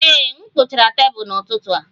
Ee, m kpochara tebụl n'ụtụtụ a